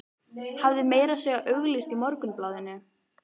Hafði meira að segja auglýst í Morgunblaðinu.